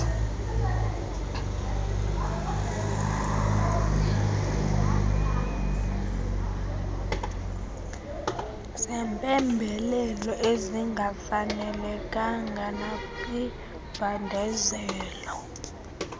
zempembelelo ezingafanelekanga nakwimbandezelo